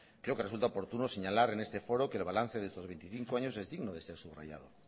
creo que resulta oportuno señalar en este foro que el balance de estos veinticinco años es digno de ser subrayado